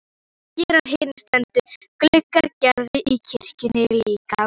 Það gera hinir steindu gluggar Gerðar í kirkjunni líka.